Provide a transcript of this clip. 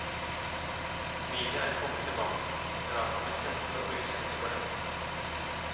Smilet er kommet tilbake, og praten med kjente og ukjente går lett.